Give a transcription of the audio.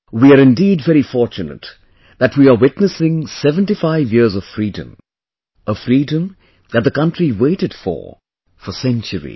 We are indeed very fortunate that we are witnessing 75 years of Freedom; a freedom that the country waited for, for centuries